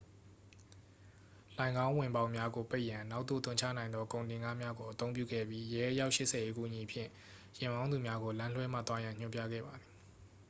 လှိုဏ်ခေါင်းဝင်ပေါက်များကိုပိတ်ရန် နောက်သို့သွန်ချနိုင်သောကုန်တင်ကားများကို အသုံးပြုခဲ့ပြီး ရဲ အယောက် 80 ၏အကူအညီဖြင့် ယာဉ်မောင်းသူများကို လမ်းလွှဲမှသွားရန် ညွှန်ပြခဲ့ပါသည်